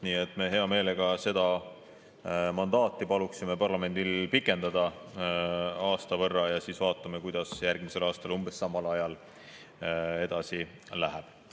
Nii et me hea meelega seda mandaati paluksime parlamendil pikendada aasta võrra ja siis vaatame, kuidas järgmisel aastal umbes samal ajal edasi läheb.